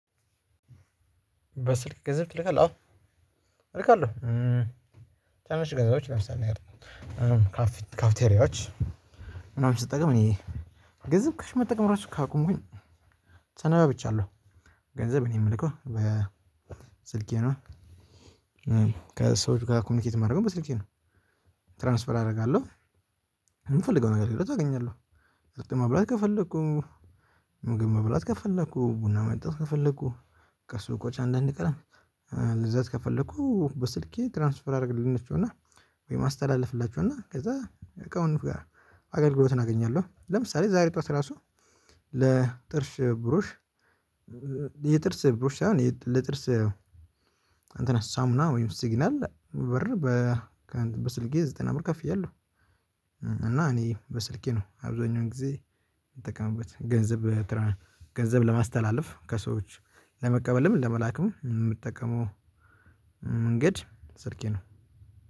በስልክ ገንዝብ ትልካለህ አዎ እልካለሁ ትናናሽ ገዝቦች ለምሳሌ ያህል ካፊት ካፊቴሪያዎች ምናምን ስጠቀም እኔ ገንዝብ ካሽ መጠቀም ራሱ ካቆምኩኝ ሰነባብቻለው ገንዘብ እኔ ምልከው በስልኬ ነው። ከሰዎች ጋር ኮሚኒኬት የማደርገው በስልኬ ነው። ትራንስፈር አደርጋለሁ። የምፈልገው አይነት ነገር አገኛለሁ። ቁርጥ መብላት ከፈለኩ ምግብ መብላት ከፈለኩ ቡና መጠጣት ከፈለኩ ከሱቆች አንዳንድ ቀን መግዛት ከፈለኩ በስልኬ ትራንስፈር አደረግላቸው እና ወይም አስተላልፍላቸው እና ከዛ እቃውን አገልግሎትን አገኛለሁ። ለምሳሌ ዛሬ ጠዋት ራሱ ለጥርሽ ብሩሽ የጥርስ ብሩሽ ሳይሆን ለጥርስ እንተን ሳሙና ወይም ሲግናል ብር በ በስልኬ ዘጠና ብር ከፍያለው። እና እኔ በስልኬ ነው አብዛኛውን ጊዜ የምጠቀምበት ገንዘብ። ገንዘብ ለማስተላለፍ ከሰዎች ለመቀበልም ለመላክም የምጠቀመው መንገድ ስልኬ ነው።